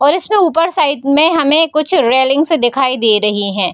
और इसमें ऊपर साइड में हमें कुछ रेलिंग्स दिखाई दे रही हैं।